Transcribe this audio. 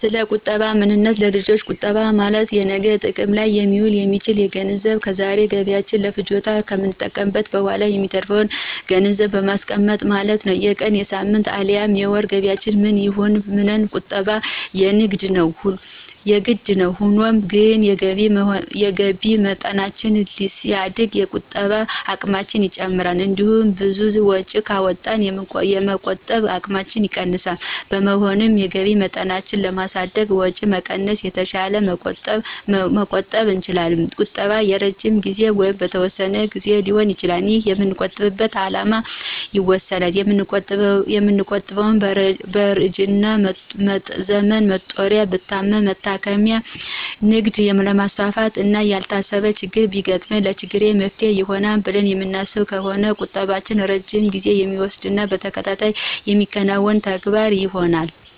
ሰለቁጠባ ምንነት ለልጆች ቁጠባ ማለት ለነገ ጥቅም ላይ ሊውል የሚችል ገንዘብ ከዛሬ ገቢያችን ለፍጆታ ከተጠቀምንት በኋላ የሚተርፍን ገንዘብን ማስቀመጥ ማለት ነው። የቀን፣ የሳምንት፣ አልያም የወር ገቢያችን ምንም ይሁን ምን ቁጠባ የግድ ነው። ሆኖም ግን የገቢ መጠናችን ሲያድግ የመቆጠብ አቅማችን ይጨምራል። እንዲሁም ብዙ ወጪ ካወጣን የመቆጠብ አቅማችን ይቀንሳል። በመሆኑም የገቢ መጠናችንን በማሳደግና ወጪ በመቀነስ የተሻለ መቆጠብ እንችላለን። ቁጠባ የረጅም ጊዜ ወይንም በተወሰነ ግዜ ሊሆን ይችላል። ይህንንም የምንቆጥብበት አላማ ይወስነዋል። የምንቆጥበው በእርጅና ዘመን መጦሪያዬ፣ ብታመም መታከሚያየ፣ ንግድ ላማስፋፋት፣ እና ያልታሰበ ችግር ቢገጥመኝ ለችግሬ መፍትሔ ይሆናል ብለን የምናስብ ከሆነ ቁጠባም ረጅም ጊዜ የሚወስድና በተከታታይ የሚከናወን ተግባር ይሆናል።